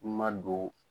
Ma don